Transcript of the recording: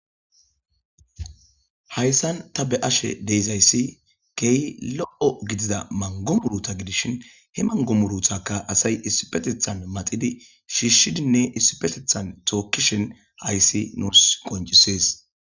hayssan ta be ashe deyzayssi key lo7o gidida mangomuruta gidishin he mangomuruthaka asay issipetethan maxidi shiishshidinne issipetethan tookkishen hayssi nuurs qoncisees